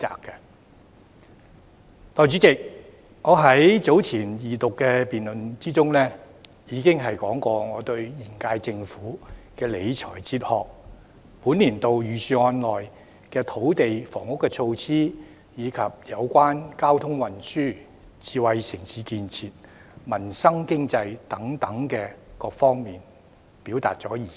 代理主席，我在早前的二讀辯論中，已談論過現屆政府的理財哲學，並就本年度財政預算案內有關土地及房屋措施、交通運輸、智慧城市建設、民生、經濟等各方面，表達了意見。